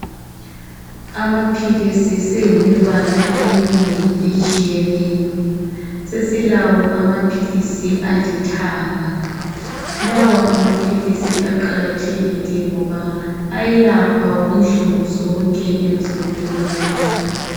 Amaphilisi seyimibala eminengi etshiyeneyo. Sesilawo amaphilisi alithanga, lawa amaphilisi aqakathekile ngoba ayelapha inhlungu zonke emzimbeni yethu.